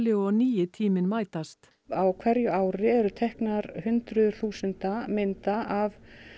og nýi tíminn mætast á hverju ári eru teknar hundruðir þúsunda mynda af